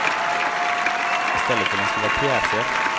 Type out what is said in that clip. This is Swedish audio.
I stället vill han skriva pjäser.